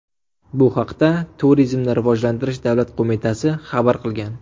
Bu haqda Turizmni rivojlantirish davlat qo‘mitasi xabar qilgan .